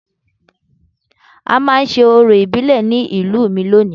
A máa ṣe orò ìbílẹ̀ ní ìlú mi lónìí